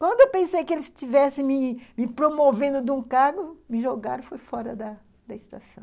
Quando eu pensei que eles estivessem me me promovendo de um cargo, me jogaram foi fora da estação.